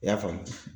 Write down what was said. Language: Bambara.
I y'a faamu